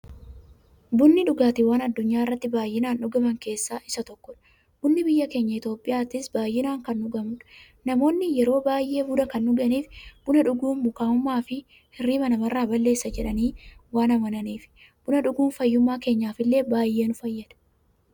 Bunni dhugaatiiwwan addunyaarratti baay'inaan dhugaman keessaa isa tokkodha. Bunni biyya keenya Itiyoophiyaattis baay'inaan kan dhugamuudha. Namoonni yeroo baay'ee buna kan dhuganiif, buna dhuguun mukaa'ummaafi hirriiba namarraa balleessa jedhanii waan amananiifi. Buna dhuguun fayyummaa keenyaf illee baay'ee nu fayyada.